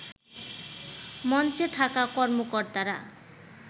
মঞ্চে থাকা কর্মকর্তারা